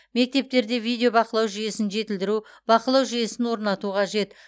мектептерде видео бақылау жүйесін жетілдіру бақылау жүйесін орнату қажет